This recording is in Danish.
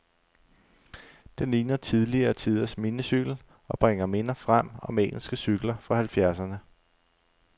Den ligner tidligere tiders minicykel, og bringer minder frem om engelske cykler fra halvfjerdserne.